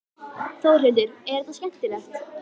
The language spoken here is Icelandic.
Þórhildur: Er þetta skemmtilegt?